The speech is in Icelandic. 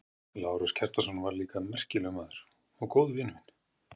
Lárus Kjartansson var líka merkilegur maður og góður vinur minn.